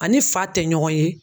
A ni fa tɛ ɲɔgɔn ye.